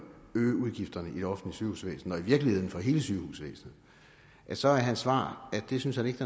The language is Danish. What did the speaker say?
øge udgifterne i det offentlige sygehusvæsen og i virkeligheden for hele sygehusvæsenet så er hans svar at det synes han ikke